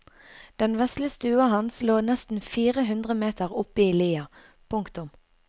Den vesle stua hans lå nesten fire hundre meter oppe i lia. punktum